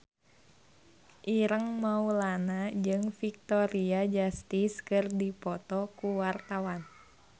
Ireng Maulana jeung Victoria Justice keur dipoto ku wartawan